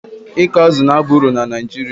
ịkụ azụ̀ na-aba uru na Naijiria